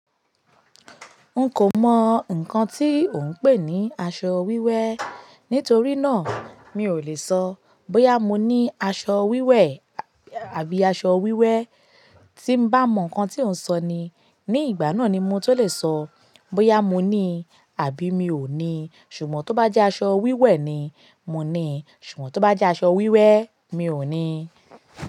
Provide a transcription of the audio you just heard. N kò mọ nnkan tí ò ń pè ní aṣọ wíwẹ́. Nítorí náà mi ò lè sọ bóyá mo ní aṣọ wíwẹ̀ àbí aṣọ wíwẹ́. Tí bá mọ nnkan tí ò ń sọ ni, ní ìgbà náà ni mo tó lè sọ bóyá mo ní àbí mi ò ní. Ṣùgbọ́n tó bá jẹ́ aṣọ wíwẹ̀ ni, mo ní. Ṣùgbọ́n tó bá jẹ́ aṣọ wíwẹ́ mi ò ní.